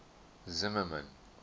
zimmermann